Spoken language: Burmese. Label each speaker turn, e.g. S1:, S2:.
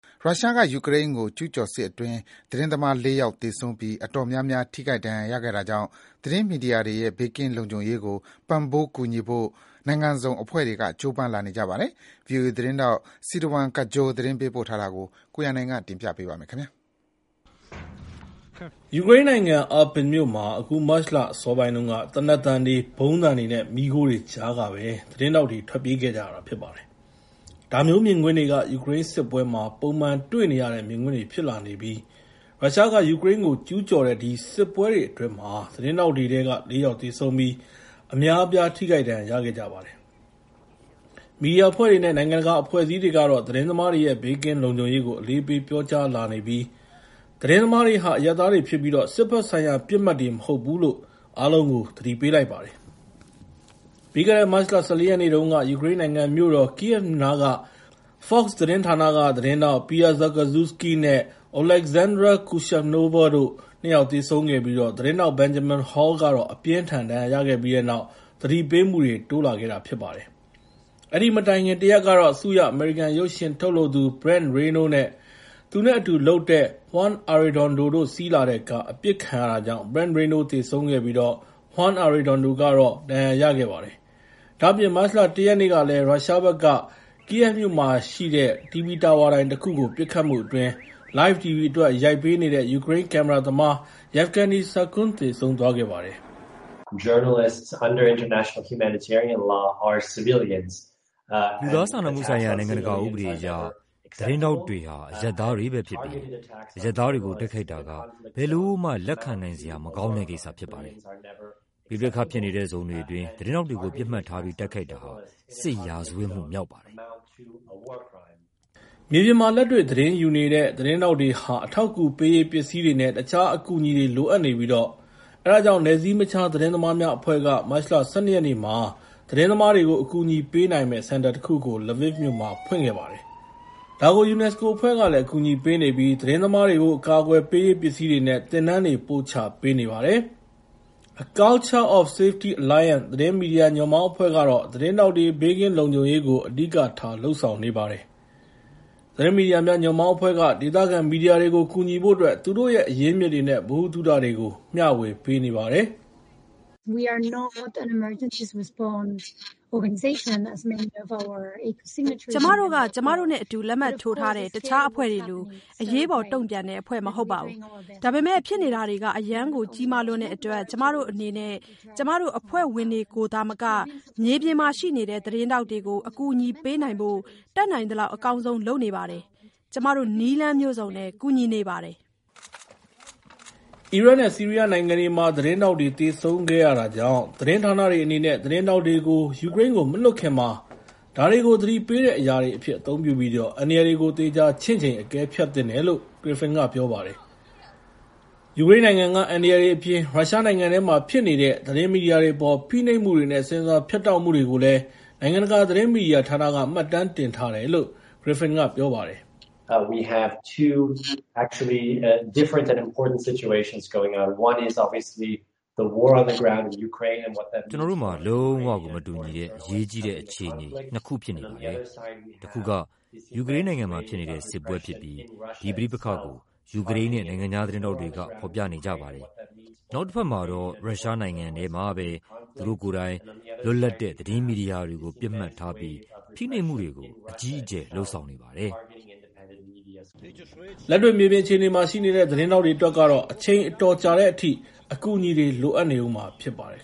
S1: ရုရှားက ယူကရိန်းကို ကျူးကျော်စစ်အတွင်း သတင်းသမားတွေထဲမှာ ၄ ယောက် သေဆုံးပြီး အတော်များများ ထိခိုက်ဒဏ်ရာရခဲ့တာကြောင့် သတင်းမီဒီယာတွေရဲ့ ဘေးကင်းလုံခြုံရေးကို ပံ့ပိုးကူညီဖို့ နိုင်ငံစုံအဖွဲ့တွေက ကြိုးပမ်းလာနေကြပါတယ်။ ဗွီအိုအေသတင်းထောက် Sirwan Kajjo သတင်းပေးပို့ထားတာကိ
S2: ု ကိုရန်နိုင် တင်ပြပေးထားပါတယ်။ ယူကရိန်းနိုင်ငံ Irpin မြို့မှာ အခုမတ်လ အစောပိုင်းတုန်းက သေနတ်သံတွေ၊ ဗုံးသံတွေနဲ့ မီးခိုးတွေကြားကပဲ သတင်းထောက်တွေ ထွက်ပြေးခဲ့ကြတာ ဖြစ်ပါတယ်။ ဒါမျိုးမြင်ကွင်းတွေက ယူကရိန်းစစ်ပွဲမှာ ပုံမှန်တွေ့နေရတဲ့ မြင်ကွင်းတွေ ဖြစ်လာနေပြီး ရုရှားက ယူကရိန်းကို ကျူးကျော်တဲ့ ဒီစစ်ပွဲအတွင်း သတင်းထောက်တွေထဲက ၄ ယောက် သေဆုံးပြီး အများအပြား ထိခိုက်ဒဏ်ရာ ရခဲ့ကြပါတယ်။ မီဒီယာအဖွဲ့တွေနဲ့ နိုင်ငံတကာ အဖွဲ့အစည်းတွေကတော့ သတင်းသမားတွေရဲ့ ဘေးကင်းလုံခြုံရေးကို အလေးပေး ပြောကြားလာနေပြီး သတင်းသမားတွေဟာ အရပ်သားတွေဖြစ်ပြီး စစ်ဘက်ဆိုင်ရာ ပစ်မှတ်တွေ မဟုတ်ဘူးလို့ အားလုံးကို သတိပေးလိုက်ပါတယ်။ ပြီးခဲ့တဲ့ မတ်လ ၁၄ ရက်နေ့တုန်းက ယူကရိန်းနိုင်ငံ မြို့တော် Kyiv နားမှာ Fox သတင်းဌာနက သတင်းထောက် Pierre Zakrzewski နဲ့ Oleksandra Kuyshynova တို့ ၂ ယောက် သေဆုံးပြီး သတင်းထောက် Benjamin Hall အပြင်းအထန် ဒဏ်ရာရခဲ့ပြီးတဲ့နောက် သတိပေးမှုတွေ တိုးလာခဲ့ပါတယ်။ အဲဒီမတိုင်ခင် ၁ ရက်ကတော့ ဆုရ အမေရိကန် ရုပ်ရှင်ထုတ်လုပ်သူ Brent Renaud နဲ့ သူနဲ့အတူလုပ်တဲ့ Juan Arredondo တို့ စီးလာတဲ့ကား အပစ်ခံရတာကြောင့် Brent Renaud သေဆုံးခဲ့ပြီး Juan Arredondo ကတော့ ဒဏ်ရာရခဲ့ပါတယ်။ ဒါ့အပြင် မတ်လ ၁ ရက်နေ့ကလည်း ရုရှားဘက်က Kyiv မြို့မှာရှိတဲ့ TV တာဝါတိုင်ကို ပစ်ခတ်မှုအတွင်း LIVE TV အတွက် ရိုက်ပေးနေတဲ့ ယူကရိန်းကင်မရာသမား Yevhenii Sakun သေဆုံးသွားခဲ့ပါတယ်။ Scott Griffen ဟာ နိုင်ငံတကာ မီဒီယာဌာန
S1: ဒုညွှန်ကြားရေးမှူး ဖြစ်ပါတယ်။ “နိုင်ငံတကာ လူသားချင်းစာနာမှု ဥပဒေအရ သတင်းထောက်တွေဟာ အရပ်သားတွေပဲဖြစ်ပြီး အရပ်သားတွေကို တိုက်ခိုက်တာဟာ ဘယ်လိုမှ လက်ခံနိုင်စရာ မကောင်းတဲ့ကိစ္စ ဖြစ်ပါတယ်။ ပဋိပက္ခဖြစ်နေတဲ့ ဇုန်တွေအတွင်း သတင်းထောက်တွေကို ပစ်မှတ်ထားပြီး တိုက်ခိုက်တာဟာ
S2: စစ်ရာဇဝတ်မှု မြောက်ပါတယ်။” မြေပြင်မှာ လက်တွေ့သတင်းယူနေရတဲ့ သတင်းထောက်တွေဟာ အထောက်အကူပေးရေး ပစ္စည်းတွေနဲ့ တခြားအကူအညီတွေ လိုအပ်နေပြီး အဲဒါကြောင့် နယ်စည်းမခြား သတင်းသမားများအဖွဲ့က မတ်လ ၁၂ ရက်နေ့မှာ သတင်းသမားတွေကို အကူအညီပေးနိုင်မယ့် စင်တာတခုကို Lviv မြို့မှာ ဖွင့်ခဲ့ပါတယ်။ ဒါကို UNESCO အဖွဲ့ကလည်း အကူအညီပေးနေပြီး သတင်းသမားတွေကို အကာအကွယ်ပေးရေး ပစ္စည်းတွေနဲ့ သင်တန်းတွေ ပို့ချပေးနေပါတယ်။ A Culture of Safety Alliance သတင်းမီဒီယာ ညွန့်ပေါင်းအဖွဲ့ကတော့ သတင်းထောက်တွေ ဘေးကင်းလုံခြုံရေးကို အဓိကထား လုပ်ဆောင်နေပါတယ်။ သတင်းမီဒီယာများ ညွန့်ပေါင်းအဖွဲ့ကတော့ ဒေသခံမီဒီယာတွေကို ကူညီဖို့အတွက် သူတို့ရဲ့ အရင်းအမြစ်တွေနဲ့ ဗဟုသုတတွေကို မျှေဝေပးနေပါတယ်။
S1: ACOS အဖွဲ့ဝင် Elisabet Cantenys က “ကျမတို့က ကျမတို့နဲ့အတူ လက်မှတ်ထိုးထားတဲ့ တခြားအဖွဲ့တွေလို အရေးပေါ်တုံ့ပြန်တဲ့အဖွဲ့ မဟုတ်ပါဘူး။ ဒါပေမဲ့ ဖြစ်နေတာတွေက အရမ်းကို ကြီးမားလွန်းတဲ့အတွက် ကျမတို့အနေနဲ့ ကျမတို့အဖွဲ့ဝင်တွေကိုသာမက မြေပြင်မှာရှိနေတဲ့ သတင်းထောက်တွေကို အကူအညီပေးနိုင်ဖို့ တတ်နိုင်သလောက် အကောင်းဆုံး လုပ်နေပါတယ်။ ကျမတို့ နည်းလမ်းမျိုးစုံနဲ့ ကူညီနေပါတယ်။” လို့ ပြောပါတယ်။
S2: အီရတ်နဲ့ ဆီးရီးယားနိုင်ငံတွေမှာ သတင်းထောက်တွေ သေဆုံးခဲ့တာကြောင့် သတင်းဌာနတွေ အနေနဲ့ သတင်းထောက်တွေကို ယူကရိန်းကို မလွှတ်ခင်မှာ ဒါတွေကို သတိပေးတဲ့အရာတွေအဖြစ် အသုံးပြုပြီး အန္တရာယ်တွေကို သေချာချင့်ချိန် အကဲဖြတ်သင့်တယ်လို့ Griffen က ပြောပါတယ်။ ယူကရိန်းနိုင်ငံက အန္တရာယ်တွေအပြင် ရုရှားနိုင်ငံထဲမှာ ဖြစ်နေတဲ့ သတင်းမီဒီယာတွေအပေါ် ဖိနှိပ်မှုတွေနဲ့ ဆင်ဆာဖြတ်တောက်မှုတွေကိုလည်း နိုင်ငံတကာ သတင်းမီဒီယာဌာနက မှတ်တမ်းတင်ထားတယ်လို့ Griffen က ပြောပါတယ်။
S1: “ကျနော်တို့မှာ လုံးဝကို မတူညီတဲ့ အရေးကြီးတဲ့ အခြေအနေ ၂ ခု ဖြစ်နေပါတယ်။ တခုက ယူကရိန်းနိုင်ငံမှာဖြစ်နေတဲ့ စစ်ပွဲဖြစ်ပြီး ဒီပဋိပက္ခကို ယူကရိန်းနဲ့ နိုင်ငံခြား သတင်းထောက်တွေက ဖော်ပြနေကြပါတယ်။ နောက်တဖက်မှာတော့ ရုရှားနိုင်ငံထဲမှာပဲ သူတို့ကိုယ်တိုင် လွတ်လပ်တဲ့ သတင်းမီဒီယာတွေ
S2: ကို ပစ်မှတ်ထားပြီး ဖိနှိပ်မှုတွေကို အကြီးအကျယ် လုပ်ဆောင်နေပါတယ်
S1: ။”
S2: လက်တွေ့ မြေပြင်အခြေအနေမှာ ရှိနေတဲ့ သတင်းထောက်တွေ အတွက်ကတော့ အချိန်တော်တော်ကြာတဲ့အထိ အကူအညီတွေ လိုနေဦးမှာ ဖြစ်ပါတယ်